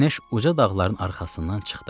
Günəş uca dağların arxasından çıxdı.